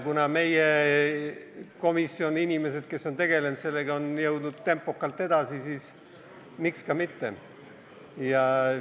Kuna meie komisjoni inimesed, kes on sellega tegelenud, on jõudnud tempokalt edasi, siis miks ka mitte.